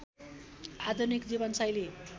आधुनिक जीवनशैली